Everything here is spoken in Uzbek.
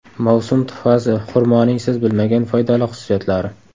Mavsum tuhfasi: xurmoning siz bilmagan foydali xususiyatlari.